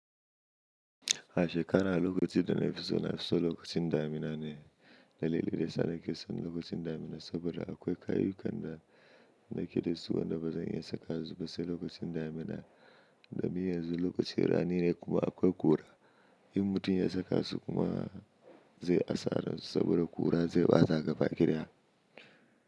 A shekara lokaci da na fi so na fi so lokacin damina ne. Dalilin daya sa na ke son lokacin damina saboda akwai kayu kan da nake da su, wanda bazan iya saka su ba sai lokacin damina. Domin yanzu lokaci rani ne kuma akwai ƙura. In mutum ya saka su kuma zai asar su saboda ƙura zai ɓata gaba kidaya.